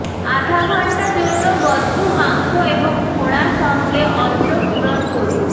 আধা ঘন্টা জন্য বদ্ধ মাংস এবং ফোঁড়া সঙ্গে অন্ত্র পূরণ করুন